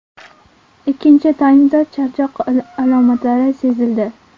Ikkinchi taymda charchoq alomatlari sezildi.